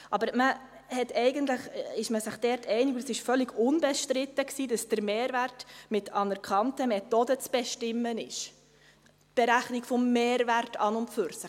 Aber man ist sich eigentlich einig, und es war völlig unbestritten, dass der Mehrwert mit anerkannten Methoden zu bestimmen ist – die Berechnung des Mehrwerts an und für sich.